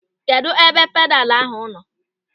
Kedụ ebe pedalu ahụ nọ?